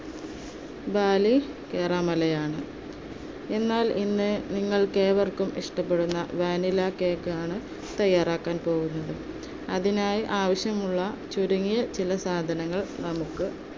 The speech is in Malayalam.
ബാലികേറാമലയാണ്, എന്നാൽ ഇന്ന് നിങ്ങൾക്കേവർക്കും ഇഷ്ടപ്പെടുന്ന vanilla cake ആണ് തയ്യാറാക്കാൻ പോകുന്നത്. അതിനായി ആവശ്യമുള്ള ചുരുങ്ങിയ ചില സാധനങ്ങൾ നമുക്ക്